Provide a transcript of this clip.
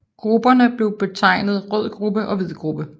Grupperne blev betegnet Rød gruppe og Hvid gruppe